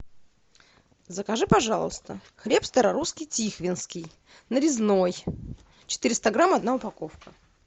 закажи пожалуйста хлеб старорусский тихвинский нарезной четыреста грамм одна упаковка